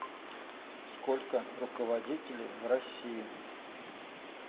сколько руководителей в россии